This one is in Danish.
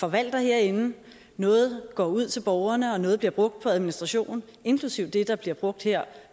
forvalter herinde noget går ud til borgerne og noget bliver brugt på administration inklusive det der bliver brugt her